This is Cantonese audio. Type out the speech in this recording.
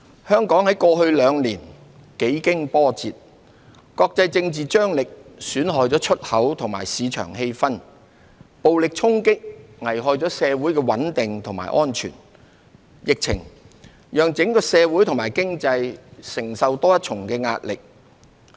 香港在過去兩年幾經波折，國際政治張力損害了出口和市場氣氛，暴力衝擊危害了社會穩定和安全，疫情讓整個社會及經濟承受多一層的壓力。